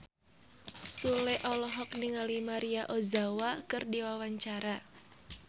Sule olohok ningali Maria Ozawa keur diwawancara